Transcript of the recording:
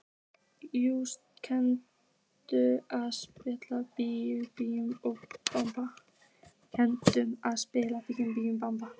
Júlíus, kanntu að spila lagið „Bí bí og blaka“?